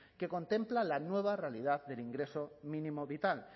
que contempla la nueva realidad del ingreso mínimo vital